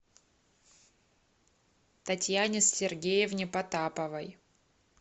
татьяне сергеевне потаповой